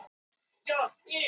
Hægt að kjósa í útlöndum